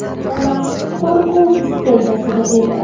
Onam qo‘rquv iskanjasida edi.